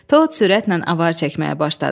Tod sürətlə avar çəkməyə başladı.